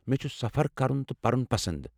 مےٚ چھُ سفر کرُن تہٕ پرُن پسنٛد ۔